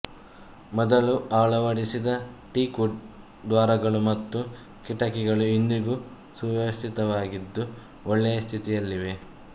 ಮೊದಲು ಅಳವಡಿಸಿದ teak wood ದ್ವಾರಗಳು ಮತ್ತು ಕಿಟಕಿಗಳು ಇಂದಿಗೂ ಸುವ್ಯವಸ್ಥಿತವಾಗಿದ್ದು ಒಳ್ಳೆಯ ಸ್ಥಿತಿಯಲ್ಲಿವೆ